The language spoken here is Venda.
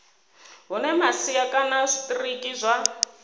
hune masia kana zwitiriki zwa